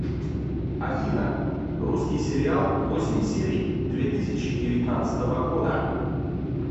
афина русский сериал восемь серий две тысячи девятнадцатого года